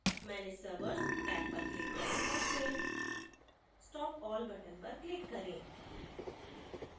manage servers tab पर click करें और फिर stop all button पर click करें